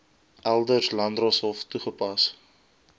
eld landdroshof toegepas